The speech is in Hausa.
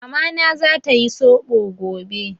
Mamana za ta yi Soɓo gobe.